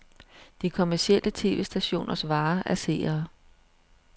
De kommercielle tv-stationers vare er seere.